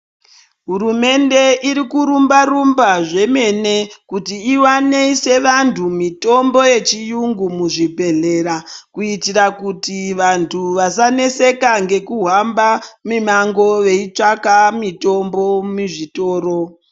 Hurumende irikuramba rumba zvemene kuti ikwanise vantu mitombo yechiyungu muzvibhedhlera kuitira kuti vantu vasaneseka ngekuhamba mimango veitsvaka mitombo muzvitoro.